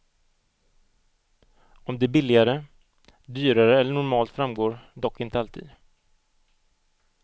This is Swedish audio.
Om det är billigare, dyrare eller normalt framgår dock inte alltid.